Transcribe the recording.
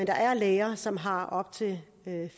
der er læger som har op til